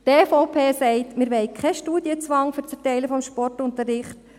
Die EVP sagt: Wir wollen keinen Studienzwang für das Erteilen von Sportunterricht.